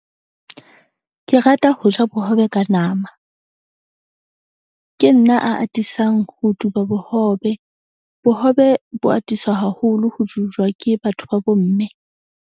Ke rata ho ja bohobe ka nama, ke nna a atisang ho duba bohobe. Bohobe bo atisa haholo ho ke batho ba bomme.